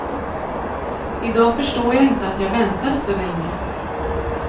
I dag förstår jag inte att jag väntade så länge.